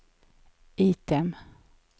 item